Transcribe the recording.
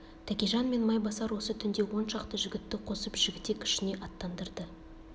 тәкежан мен майбасар осы түнде он шақты жігітті қосып жігітек ішіне аттандырды